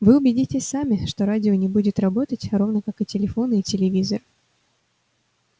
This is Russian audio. вы убедитесь сами что радио не будет работать равно как телефоны и телевизоры